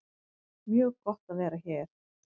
Mjög gott að vera hér